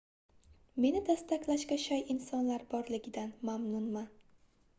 meni dastaklashga shay insonlar borligidan mamnunman